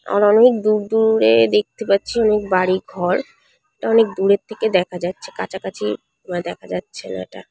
আর অনেক দূর দূরে দেখতে পাচ্ছি অনেক বাড়ি ঘর এটা অনেক দূরের থেকে দেখা যাচ্ছে কাছাকাছি মানে দেখা যাচ্ছে না এটা।